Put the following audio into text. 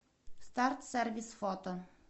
старт сервис фото